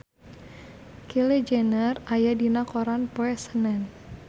Kylie Jenner aya dina koran poe Senen